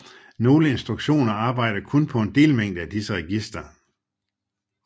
Nogle instruktioner arbejder kun på en delmængde af disse registre